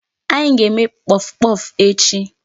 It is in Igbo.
Anyị ga-eme puffpuff echi.